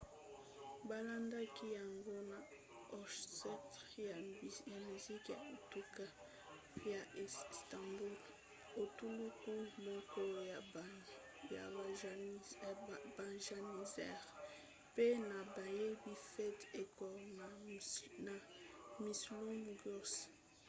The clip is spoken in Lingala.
balandaki yango na orchestre ya miziki ya etuka ya istanbul etuluku moko ya bajanissaires mpe na bayembi fatih erkoç na müslüm gürses